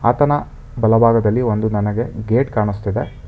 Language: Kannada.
ಆತನ ಬಲಭಾಗದಲ್ಲಿ ಒಂದು ನನಗೆ ಗೇಟ್ ಕಾಣಿಸ್ತಿದೆ.